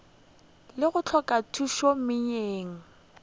le go hloka khutšo moyeng